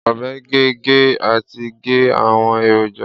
Ọbẹ ge, ge, ati ge awọn eroja